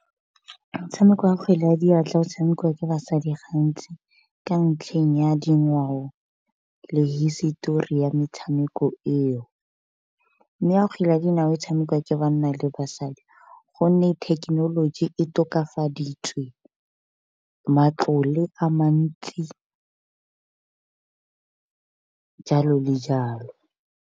Motshameko wa kgwele ya diatla o tshamekiwa ke basadi gantsi ka ntlheng ya dingwao le hisitori ya metshameko eo, mme ya kgwele ya dinao e tshamekiwa banna le basadi gonne thekenoloji e tokafaditswe, matlole a mantsi jalo le jalo.